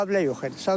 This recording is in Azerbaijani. Mənim müqavilə yox idi.